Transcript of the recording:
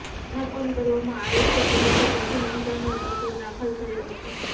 સ્થાપન કરવામાં આવે છે કે જેથી પ્રથમ ઇન્ટર્નલ તત્વો દાખલ થયો હતો